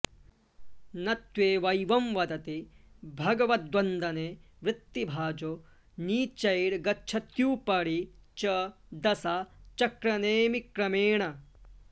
नत्वेवैवं वदति भगवद्वन्दने वृत्तिभाजो नीचैर्गच्छत्युपरि च दशा चक्रनेमिक्रमेण